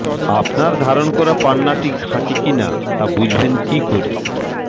আপনার ধারণ করা পান্নাটি খাঁটি কী না তা বুঝবেন কী করে